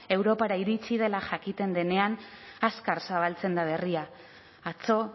europara iritsi dela jakiten denean azkar zabaltzen da berria atzo